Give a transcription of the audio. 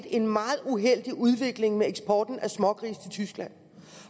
en meget uheldig udvikling med eksporten af smågrise til tyskland